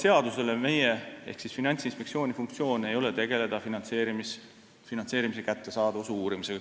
Seaduse järgi ei ole meie ehk Finantsinspektsiooni funktsioon tegelda finantseerimise kättesaadavuse uurimisega.